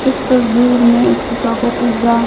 इस तस्वीर में पिज्जा --